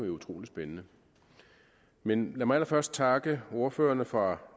jo utrolig spændende men lad mig allerførst takker ordførerne fra